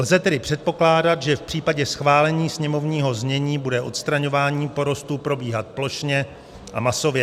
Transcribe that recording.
Lze tedy předpokládat, že v případě schválení sněmovního znění bude odstraňování porostů probíhat plošně a masově.